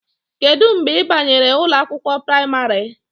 Kedu mgbe ị banyere ụlọ akwụkwọ praịmarị?